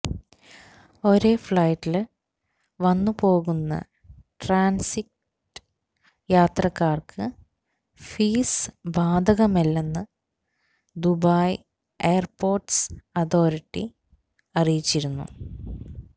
ഒരേ ഫ്ളൈറ്റില് വന്നുപോകുന്ന ട്രാന്സിറ്റ് യാത്രക്കാര്ക്ക് ഫീസ് ബാധകമല്ലെന്ന് ദുബായ് എയര്പോര്ട്സ് അതോറിറ്റി അറിയിച്ചിരുന്നു